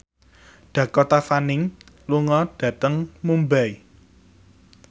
Dakota Fanning lunga dhateng Mumbai